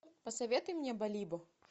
посоветуй мне балибо